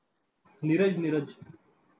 Neeraj Neeraj.